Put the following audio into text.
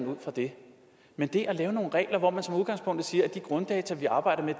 ud fra det men det at lave nogle regler hvor man som udgangspunkt siger at de grunddata vi arbejder med